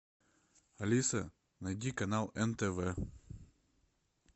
алиса найди канал нтв